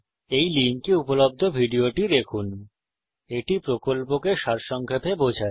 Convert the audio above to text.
এই লিঙ্কে উপলব্ধ ভিডিওটি দেখুন httpspokentutorialorgWhat is a Spoken Tutorial এটি কথ্য টিউটোরিয়াল প্রকল্পকে সারসংক্ষেপে বোঝায়